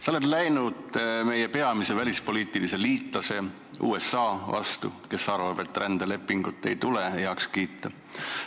Sa oled läinud meie peamise välispoliitilise liitlase USA vastu, kes arvab, et rändelepingut ei tule heaks kiita.